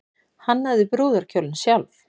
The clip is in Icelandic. Hannaði brúðarkjólinn sjálf